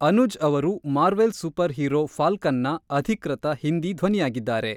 ಅನುಜ್ ಅವರು Marvel super hero ಫಾಲ್ಕನ್‌ನ ಅಧಿಕೃತ ಹಿಂದಿ ಧ್ವನಿಯಾಗಿದ್ದಾರೆ.